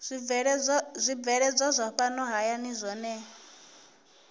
zwibveledzwa zwa fhano hayani zwohe